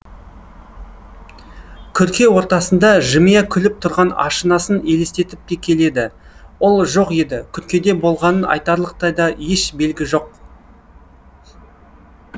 күрке ортасында жымия күліп тұрған ашынасын елестетіп те келеді ол жоқ еді күркеде болғанын айтарлықтай да еш белгі жоқ